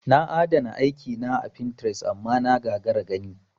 Na adana aiki na a pintres amma na gagara gani.